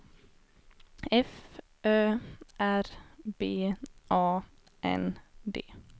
F Ö R B A N D